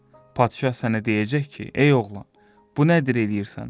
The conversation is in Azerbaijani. Padişah sənə deyəcək ki, ey oğlan, bu nədir eləyirsən?